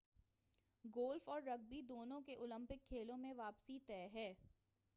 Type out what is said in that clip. golf اور rugby دونوں کی اولمپک کھیلوں میں واپسی طے ہے